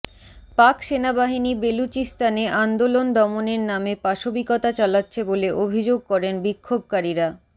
পাক সেনাবাহিনী বেলুচিস্তানে আন্দোলন দমনের নামে পাশবিকতা চালাচ্ছে বলে অভিযোগ করেন বিক্ষোভকারীরা